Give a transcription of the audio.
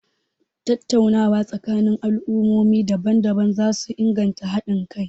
Tattaunawa tsakanin al'ummomi daban-daban za su inganta hadin kai.a